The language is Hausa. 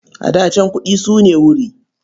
A da can, kuɗi su ne wuri.